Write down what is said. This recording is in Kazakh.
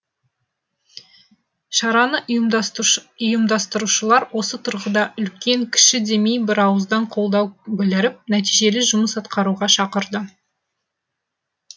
шараны ұйымдастырушылар осы тұрғыда үлкен кіші демей бірауыздан қолдау біліріп нәтижелі жұмыс атқаруға шақырды